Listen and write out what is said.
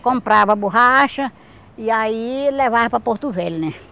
Comprava a borracha e aí levava para Porto Velho, né?